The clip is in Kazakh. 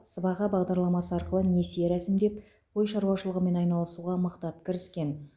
сыбаға бағдарламасы арқылы несие рәсімдеп қой шаруашылығымен айналысуға мықтап кіріскен